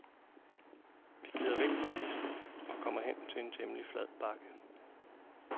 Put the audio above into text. Vi glider væk fra pisten og kommer hen til en temmelig flad bakke.